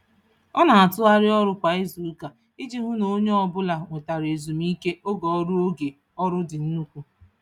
Ọ na-atụgharị ọrụ kwa izuụka iji hụ na onye ọbụla nwetara ezumike oge ọrụ oge ọrụ dị nnukwu.